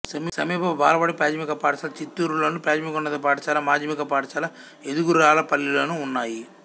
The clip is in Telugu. సమీప బాలబడి ప్రాథమిక పాఠశాల చింతూరులోను ప్రాథమికోన్నత పాఠశాల మాధ్యమిక పాఠశాల ఎదుగురాళ్ళపల్లిలోనూ ఉన్నాయి